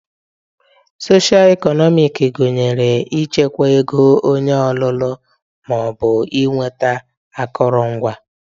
Socio eknomic gụnyere ịchịkwa ego onye ọlụlụ ma ọ bụ ịnweta akụrụngwa